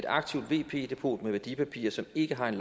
aktivt vp depot med værdipapirer som ikke har en